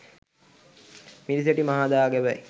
මිරිසවැටි මහා දා ගැබයි.